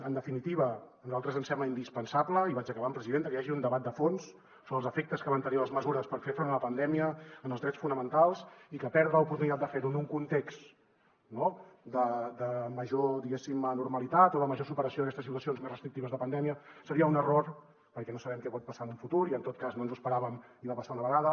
en definitiva a nosaltres ens sembla indispensable i vaig acabant presidenta que hi hagi un debat de fons sobre els efectes que van tenir les mesures per fer front a la pandèmia en els drets fonamentals i que perdre l’oportunitat de fer ho en un context de major diguéssim normalitat o de major superació d’aquestes situacions més restrictives de pandèmia seria un error perquè no sabem què pot passar en un futur i en tot cas no ens ho esperàvem i va passar una vegada